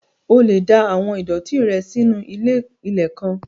O lè da àwọn ìdọ̀ọ̀tí rẹ nù sínu ilé-ilẹ̀ kan